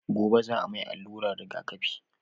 gobe za a mai alluran rigaƙafi